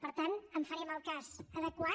per tant en farem el cas adequat